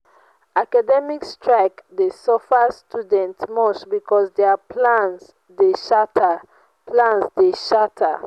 academic strike dey suffer students much because dia plans dey shatter. plans dey shatter.